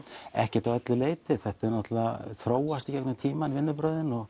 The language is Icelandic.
ekkert að öllu leyti þetta þróast í gegnum tímann vinnubrögðin og